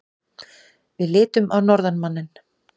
Við litum á norðanmanninn.